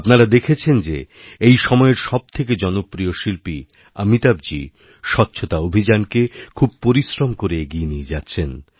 আপনারা দেখেছেন যে এই সময়ের সবথেকে জনপ্রিয়শিল্পী অমিতাভজী স্বচ্ছতা অভিযানকে খুব পরিশ্রম করে এগিয়ে নিয়ে যাচ্ছেন